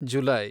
July